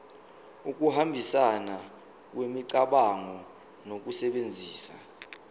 ukuhambisana kwemicabango ngokusebenzisa